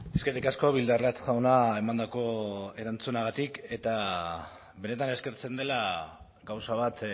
eskerrik asko bildarratz jauna emandako erantzunagatik eta benetan eskertzen dela gauza bat